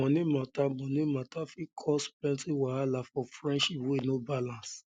um moni mata um moni mata fit um cause um plenty wahala for friendship wey no balance